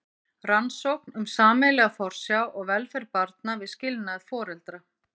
Rannsókn um sameiginlega forsjá og velferð barna við skilnað foreldra.